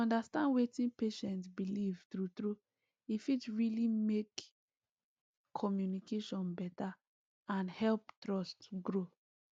to understand wetin patient believe true true e fit really make communication better and help trust grow